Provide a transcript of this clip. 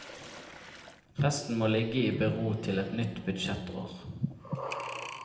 Resten må ligge i bero til et nytt budsjettår.